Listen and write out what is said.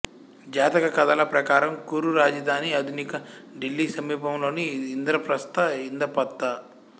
జాతక కథల ప్రకారం కురు రాజధాని ఆధునిక ఢిల్లీ సమీపంలోని ఇంద్రప్రస్థ ఇందపత్త